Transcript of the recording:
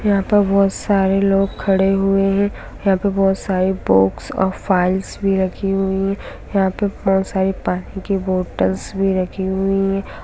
यहाँ पर बहोत सारे लोग खड़े हुए है यहाँ पे बहोत सारी बुक्स और फाइल्स भी रखी हुई है यहाँ पे बहोत सारी पानी कि बॉटल्स भी रखी हुई है।